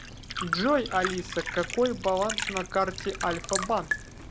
джой алиса какой баланс на карте альфа банк